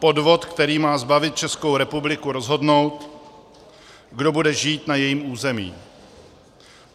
Podvod, který má zbavit Českou republiku rozhodnutí, kdo bude žít na jejím území.